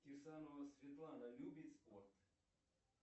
кирсанова светлана любит спорт